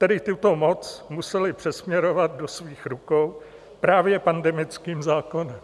Tedy tuto moc museli přesměrovat do svých rukou právě pandemickým zákonem.